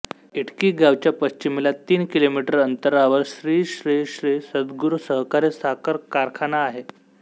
इटकी गावच्या पश्चिमेला तीन किलोमीटर अंतरावर श्री श्री श्री सद्गुरु सहकारी साखर कारखाना आहे